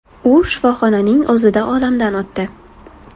U shifoxonaning o‘zida olamdan o‘tdi .